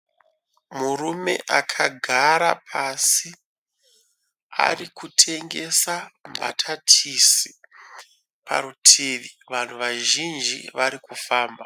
Murume akagara pasi ari kutengesa mbatatisi, parutivi vanhu vazhinji vari kufamba.